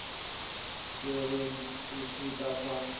tserweng e se ka fa